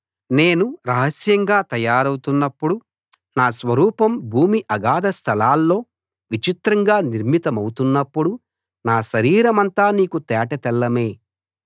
నేను రహస్యంగా తయారౌతున్నప్పుడు నా స్వరూపం భూమి అగాధస్థలాల్లో విచిత్రంగా నిర్మితమౌతున్నప్పుడు నా శరీరమంతా నీకు తేట తెల్లమే